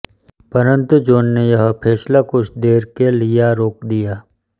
परंतु जॉन ने यह फ़ैसला कुछ देर के लिया रोक दिया